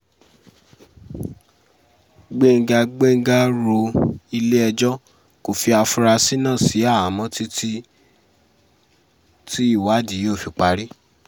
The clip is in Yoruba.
gbẹ̀ngà gbẹ̀ngà ro ilé-ẹjọ́ kò fi àfúráṣí náà sí àhámọ́ títí tí ìwádìí yóò fi parí